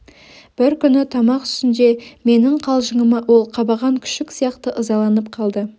бір күні тамақ үстінде менің қалжыңыма ол қабаған күшік сияқты ызаланып қалды